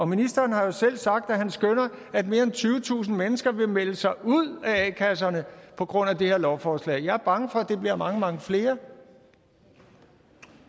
ministeren har jo selv sagt at han skønner at mere end tyvetusind mennesker vil melde sig ud af a kasserne på grund af det her lovforslag jeg er bange for at det bliver mange mange flere